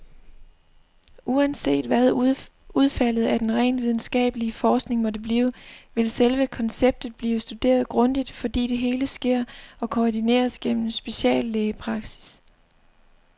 Uanset hvad udfaldet af den rent videnskabelige forskning måtte blive, vil selve konceptet blive studeret grundigt, fordi det hele sker og koordineres gennem speciallægepraksis.